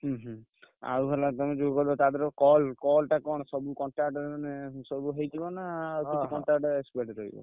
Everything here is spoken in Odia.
ହୁଁ ହୁଁ ହେଲା ତମେ ଯୋଉ କହୁଛ ତା ଧିଅରୁ call call ଟା କଣ ସବୁ contact ମାନେ ସବୁ ହେଇଯିବ ନା ଆଉ contact ।